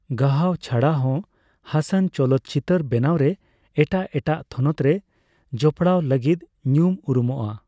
ᱜᱟᱦᱟᱣ ᱪᱷᱟᱰᱟᱦᱚᱸ ᱦᱟᱥᱟᱱ ᱪᱚᱞᱚᱛ ᱪᱤᱛᱟᱹᱨ ᱵᱮᱱᱟᱣ ᱨᱮ ᱮᱴᱟᱜ ᱮᱴᱟᱜ ᱛᱷᱚᱱᱚᱛᱨᱮ ᱡᱚᱯᱚᱲᱟᱣ ᱞᱟᱹᱜᱤᱛ ᱧᱩᱢᱼᱩᱨᱩᱢᱚᱜᱼᱟ ᱾